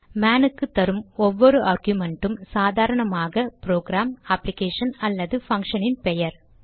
man க்கு தரும் ஒவ்வொரு ஆர்குமென்ட்டும் சாதரணமாக ப்ரோகிராம் அப்ளிகேஷன் அல்லது பங்க்ஷனின் பெயர்